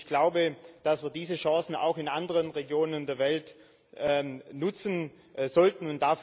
Ich glaube, dass wir diese Chancen auch in anderen Regionen der Welt nutzen sollten.